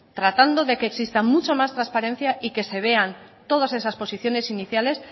tratando de que existan mucha más transparencia y que se vean todas esas posiciones iniciales